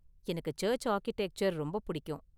எனக்கு church architecture ரொம்ப பிடிக்கும்.